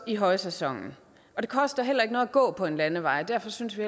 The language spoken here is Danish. i højsæsonen det koster heller ikke noget at gå på en landevej og derfor synes vi